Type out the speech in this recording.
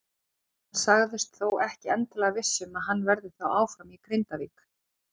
Hann sagðist þó ekki endilega viss um að hann verði þá áfram í Grindavík.